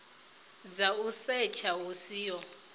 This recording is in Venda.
dza u setsha hu siho